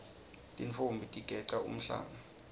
tintfombi tigeca umhlanga